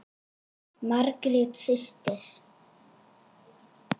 Margrét systir.